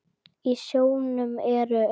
Í sjónum eru um